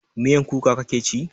Miyan kuka kake ci?